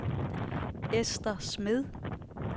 Ester Smed